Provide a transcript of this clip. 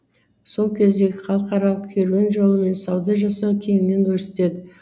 сол кездегі халықаралық керуен жолымен сауда жасау кеңінен өрістеді